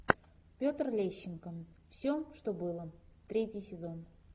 петр лещенко все что было третий сезон